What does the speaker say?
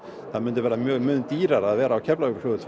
það myndi verða mun dýrara að vera á Keflavíkurflugvelli